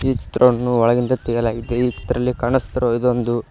ಚಿತ್ರವನ್ನು ಒಳಗಿಂದ ತೆಗೆಯಲಾಗಿದೆ ಈ ಚಿತ್ರದಲ್ಲಿ ಕಾಣಿಸುತ್ತಿರುವ ಇದು ಒಂದು--